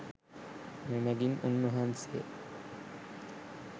මෙමඟින් උන් වහන්සේ